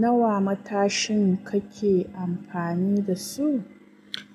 Nawa matashin kake amfani da su?